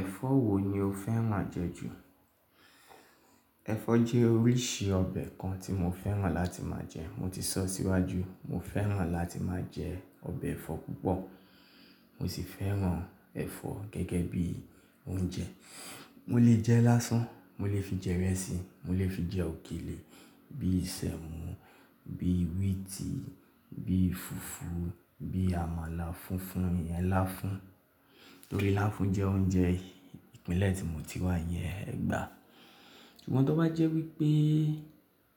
Ẹ̀fọ́ wo ni o fẹ́ràn jẹ ju? Ẹ̀fọ́ jẹ́ oríṣi ọbẹ̀ kan tí mo fẹ́ràn láti máa jẹ. Mo ti sọ síwájú, mo fẹ́ràn láti máa jẹ ọbẹ̀ ẹ̀fọ́ púpọ̀. Mo sì fẹ́ràn ẹ̀fọ́ gẹ́gẹ́ bí oúnjẹ. Mo lè jẹ lásán, mo lè fi jẹ ìrẹsì, mo lè fi jẹ òkèlè, bí isẹ́mu, bí wíìtì, bí fùfú, bí àmàlà fùnfun, iyen láfún. Torí láfún jẹ́ oúnjẹ ìpínlẹ̀ tí mo ti wà iyẹn Ẹ̀gbá. Ṣùgbọ́n tó bá jẹ́ wípé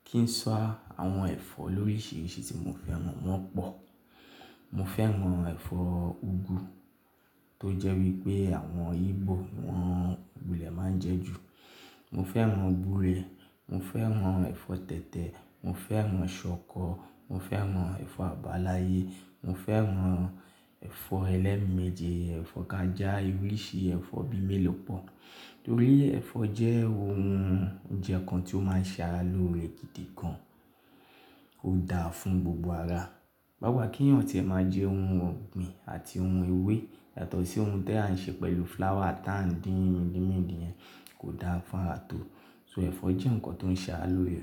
kí n sọ àwọn ẹ̀fọ́ lóríṣiríṣi tí mo fẹ́ràn, wọ́n pọ̀. Mo fẹ́ràn ẹ̀fọ́ úgú, tó jẹ́ wípé àwọn Ìgbò wọn wu le máa ń jẹ ju. Mo fẹ́ràn gbúre, mo fẹ́ràn ẹ̀fọ́ tẹ̀tẹ̀, mo fẹ́ràn ṣọkọ, mo fẹ́ràn ẹ̀fọ́ àbáláyé, mo fẹ́ràn ẹ̀fọ́ ẹlẹ́mi méje, ẹ̀fọ́ kajá oríṣi ẹ̀fọ́ bí mélòó pọ̀. Nítorí ẹ̀fọ́ jẹ́ ohun oúnjẹ kan tí ó máa ń ṣe ara lóore gidi gan. Ó da fún gbogbo ara. Báwa kí èèyàn tí ẹ máa jẹ ohun ọ̀gbìn àti ohun ewé yàtọ̀ sí ohun tí à ń ṣe pẹ̀lú flour táa ń dín mìdí mìdí yẹn kò da fún ara tó. So ẹ̀fọ́ jẹ́ nǹkan tó ń ṣe ara lóore.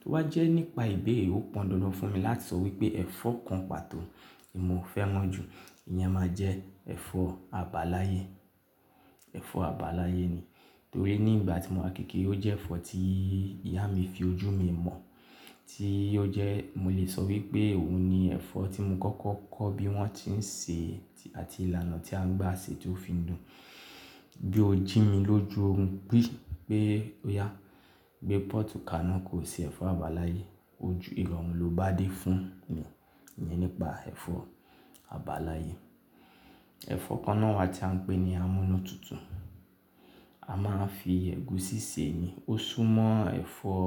To wá jẹ́ nípa ìbéèrè ó pọn dandan fún mi láti sọ wípé ẹ̀fọ́ kan pàtó tí mo fẹ́ràn jù, ìyẹn máa jẹ́ ẹ̀fọ́ àbáláyé. Ẹ̀fọ́ àbáláyé ni. Torí ní ìgbà tí mo wà kékèrè, ó jẹ́ ẹ̀fọ́ tí ìyá mi fi ojú mi mọ̀. Tí ó jẹ́ mo lè sọ wípé òun ni ẹ̀fọ́ tí mo kọ́kọ́ kọ́ bí wọ́n tí ń sè àti ìlànà tí à ń gbà ṣe tí ó fi ń dùn. Bí ó jí mi lójú orun, pé óyá, gbé pọ́ọ̀tù ka ináà kò ṣe ẹ̀fọ́ àbáláyé. Ojú ìrọ̀run ló bá dé fún mi, iyẹn nípa ẹ̀fọ́ àbáláyé. Ẹ̀fọ́ kan náà wa tí à ń pè ní amúnútutù. A máa ń fi ẹ̀gúsí sè é ni. Ó súnmọ́ ẹ̀fọ́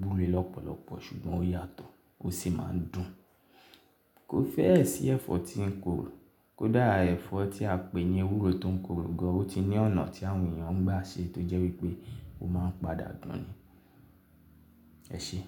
gbúre lọ́pọ̀lọpọ̀ ṣùgbọ́n ó yàtọ̀. Ó sì máa ń dùn. Kó fẹ́ ẹ sí ẹ̀fọ́ tí ń korò, kó dára ẹ̀fọ́ tí a pè ní ewúro tó ń korò gan, ó ti ní ọ̀nà tí àwọn èèyàn ń gbà ṣe tó jẹ́ wípé ó máa ń padà dùn ni. Ẹ ṣé.